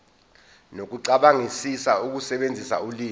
nokucabangisisa ukusebenzisa ulimi